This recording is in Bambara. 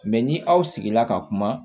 Mɛ ni aw sigila ka kuma